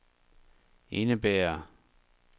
indebærer